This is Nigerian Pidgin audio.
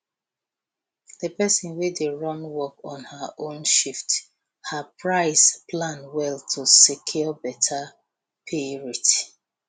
the person wey dey run work on her own shift her price plan well to secure better pay rate